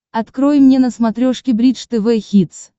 открой мне на смотрешке бридж тв хитс